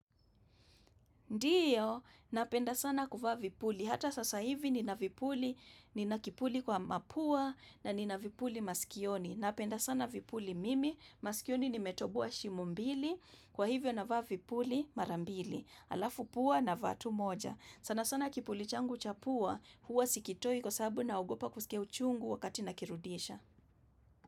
Ndiyo, napenda sana kuvaa vipuli. Hata sasa hivi nina vipuli, nina kipuli kwa mapua na nina vipuli maskioni. Napenda sana vipuli mimi, maskioni nimetoboa shimo mbili, kwa hivyo navaa vipuli marambili, alafu pua na vaa tu moja. Sana sana kipuli changu chapua, huwa sikitoi kwa sababu naogopa kusikia uchungu wakati nakirudisha.